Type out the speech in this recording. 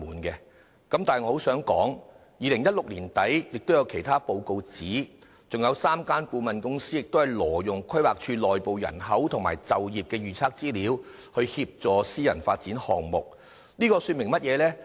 不過，我想指出，媒體在2016年年底也報道，還有3間顧問公司挪用規劃署內部人口和就業預測資料，協助私人發展項目，這說明了甚麼呢？